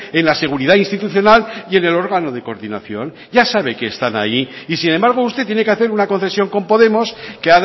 en la seguridad institucional y en el órgano de coordinación ya sabe que están ahí y sin embargo usted tiene que hacer una concesión con podemos que